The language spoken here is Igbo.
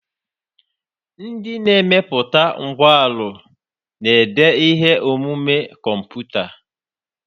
Ndị na-emepụta ngwanrọ na-ede ihe omume kọmputa.